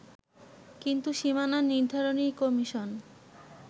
কিন্তু সীমানা নির্ধারণী কমিশন